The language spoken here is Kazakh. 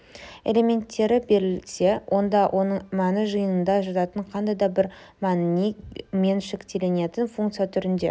элементтері берілсе онда оның мәні жиынында жататын қандай да бір мәніне меншіктелетін функция түрінде